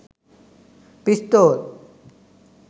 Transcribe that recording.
pistol